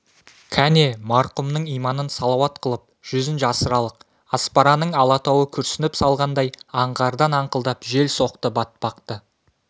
кәне марқұмның иманын салауат қылып жүзін жасыралық аспараның алатауы күрсініп салғандай аңғардан аңқылдап жел соқты батпақты